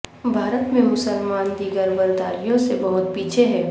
بھارت میں مسلمان دیگر برداریوں سے بہت پیچھے ہیں